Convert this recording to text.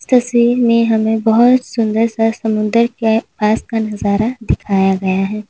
तस्वीर में हमें बहुत सुंदर सा समुद्र के पास नजारा दिखाया गया है।